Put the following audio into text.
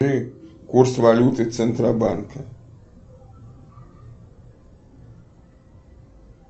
курс валюты центробанка